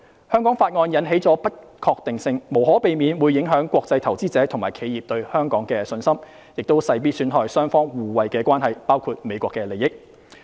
《香港法案》引起的不確定性無可避免會影響國際投資者及企業對香港的信心，亦勢必損害雙方互惠的關係，包括美國的利益。